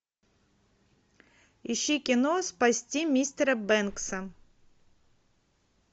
ищи кино спасти мистера бэнкса